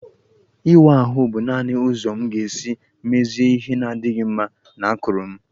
Ịwa ahụ bụ naanị ụzọ m ga-esi mezie ihe na-adịghị mma na akụrụ m